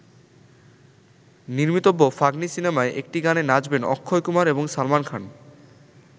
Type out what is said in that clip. নির্মিতব্য ‘Fugly’ সিনেমায় একটি গানে নাচবেন অক্ষয় কুমার এবং সালমান খান।